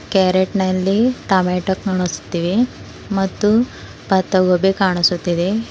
ಕ್ಯಾರೇಟ್ನಲ್ಲಿ tomato ಕಾಣಿಸ್ತಿವೆ ಮತ್ತು ಪತ್ತಗೋಬಿ ಕಾಣಿಸುತ್ತಿದೆ.